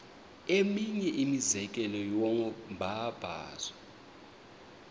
eminye imizekelo yombabazo